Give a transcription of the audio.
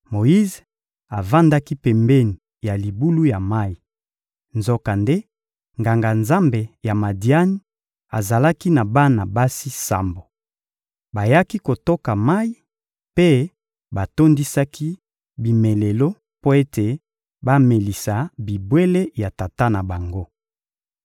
Moyize avandaki pembeni ya libulu ya mayi. Nzokande, Nganga-Nzambe ya Madiani azalaki na bana basi sambo. Bayaki kotoka mayi mpe batondisaki bimelelo mpo ete bamelisa bibwele ya tata na bango.